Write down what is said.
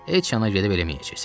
Heç yana gedib eləməyəcəksən.